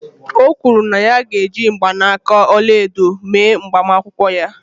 O kwuru na ya ga-eji mgbanaka ọla edo mee agbamakwụkwọ ya.